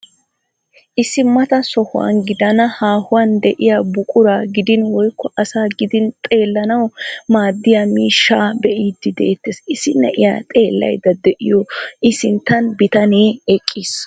Issi mata sohuwaa gidenna haahuwaan de'iyaa buquraa gidin woykko asaa gidin xeellanawu maaddiyaa miishshaa be'iidi de'eettees. issi na'iyaa xeellayda de'iyoo i sinttan bitanee eqqiis.